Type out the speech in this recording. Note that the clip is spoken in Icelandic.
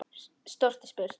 Stórt er spurt.